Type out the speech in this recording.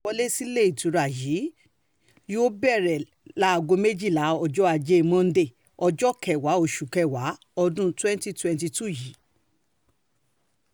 um ìforúkọsílẹ̀ àti ìwọlé síléetura yìí yóò um bẹ̀rẹ̀ láago méjìlá ọ̀sán ọjọ́ ajé monde ọjọ́ kẹwàá oṣù kẹwàá ọdún twenty twenty two yìí